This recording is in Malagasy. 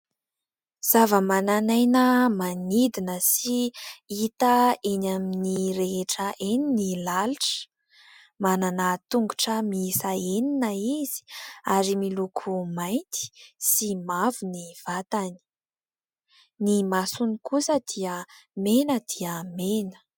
Zavamananaina manidina sy hita eny amin'ny rehetra eny ny lalitra : manana tongotra miisa enina izy ary miloko mainty sy mavo ny vatany, ny masony kosa dia mena dia mena.